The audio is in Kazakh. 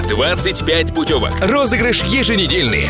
двадцать пять путевок розыгрыш еженедельный